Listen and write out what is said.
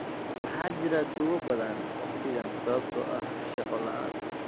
Waxaa jira tuugo badan wakhtigan sababtoo ah shaqo la'aan